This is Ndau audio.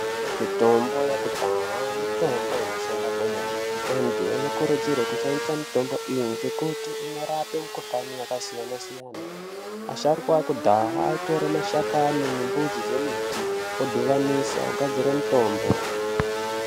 Mitombo yekudhaya mitombo inoshanda kwemene. Antu anokurudzirwe kushandisa mitombo iyi ngekuti inorape mikuhlani yakasiyana-siyana. Asharukwa akudhaya aitore mashakani nemudzi dzembiti odhuvanisa ogadzira mutombo.